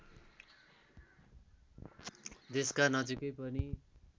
देशका नजिकै पनि